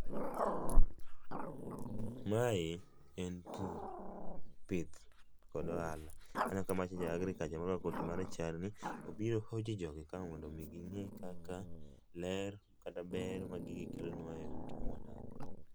Mae en pur, pith kod ohala. Aneno ka magi jo agriculture morwako koti marachar ni, obiro hoji jogi ka mondo gingi kaka ler, kata ber ma gigi kelonwa e ute kuma wadake